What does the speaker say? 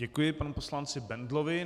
Děkuji panu poslanci Bendlovi.